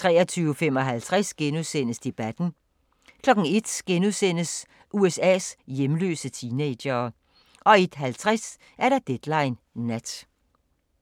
23:55: Debatten * 01:00: USA's hjemløse teenagere * 01:50: Deadline Nat